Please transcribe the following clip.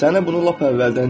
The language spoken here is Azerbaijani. Səni bunu lap əvvəldən deyiblər.